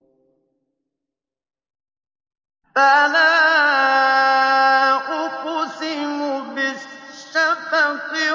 فَلَا أُقْسِمُ بِالشَّفَقِ